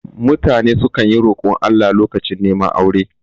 Mutane sukan yi rokon Allah lokacin reman aure